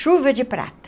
Chuva de prata.